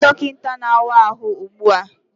Kpọga m dọkịta na-awa ahụ ugbu a!